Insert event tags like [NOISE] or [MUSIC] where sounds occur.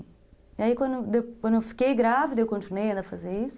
E aí, quando [UNINTELLIGIBLE] eu fiquei grávida, eu continuei a fazer isso.